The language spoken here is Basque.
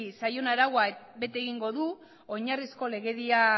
zaion araua bete egingo du oinarrizko legedia